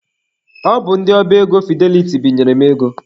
Ọ bụ ndị ọba ego Fideliti binyere m ego.